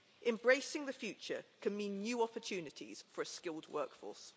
Embracing the future can mean new opportunities for a skilled workforce.